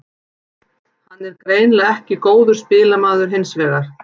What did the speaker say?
Hann er greinilega ekki góður spilamaður hinsvegar.